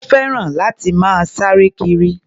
Ó fẹ́ràn láti máa sáre kiri.